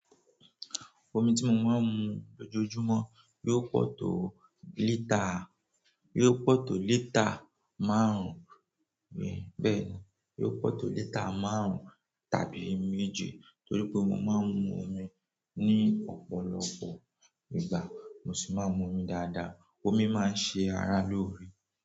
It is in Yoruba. Omi tí mo máa ń mu lójoojúmọ́ yóò pọ̀ tó lítà, yóò pọ̀ tó lítà márùn-ún, bẹ́ẹ̀ni, yóò pọ̀ tó lítà márùn-ún tàbí méje. Torí pé mo máa ń mu omi ní ọ̀pọ̀lọpọ̀ ìgbà, mo sì máa ń mu omi dáadáa. Omi máa ń ṣe ara lóore.